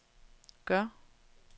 gør